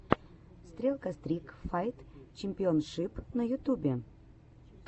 стрелка стрик файт чемпионшип на ютюбе